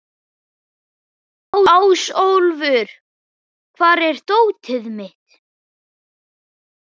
Ásólfur, hvar er dótið mitt?